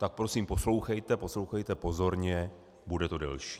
Tak prosím poslouchejte, poslouchejte pozorně, bude to delší.